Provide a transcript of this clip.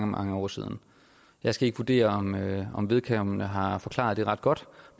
mange år siden jeg skal ikke vurdere om vedkommende har forklaret det ret godt